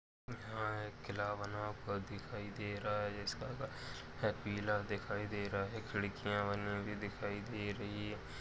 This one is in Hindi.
यहाँ एक किला बना हुआ दिखायी दे रहा है इसका कलर पीला दिखायी दे रहा है खिड़कीया बनी हुई दिखायी दे रही है।